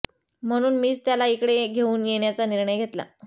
म्हणून मीच त्याला इकडे घेऊन येण्याचा निर्णय घेतला